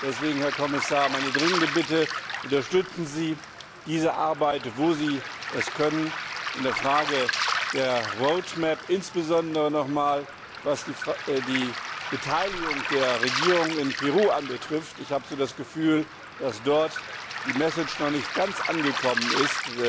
Deswegen, Herr Kommissar, meine dringende Bitte Unterstützen Sie diese Arbeit, wo Sie können, in der Frage der Roadmap, insbesondere noch einmal, was die Beteiligung der Regierung in Peru betrifft ich habe das Gefühl, dass dort die Message noch nicht ganz angekommen ist,